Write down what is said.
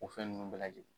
O fɛn ninnu bɛɛ lajɛlen